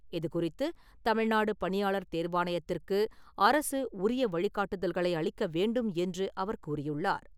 இதுகுறித்து தமிழ்நாடு பணியாளர் தேர்வாணையத்திற்கு அரசு உரிய வழிகாட்டுதல்களை அளிக்க வேண்டும் என்று அவர் கூறியுள்ளார்.